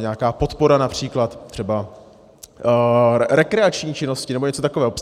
nějaká podpora, například třeba rekreační činnosti nebo něco takového.